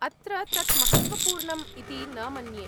अत्र तत् महत्त्वपूर्णम् इति न मन्ये।